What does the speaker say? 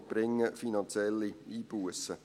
Sie bringen finanzielle Einbussen.